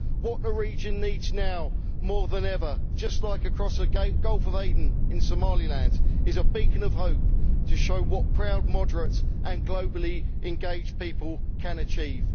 What the region needs now, more than ever just like across the Gulf of Aden in Somaliland is a beacon of hope to show what proud moderates and globally engaged people can achieve.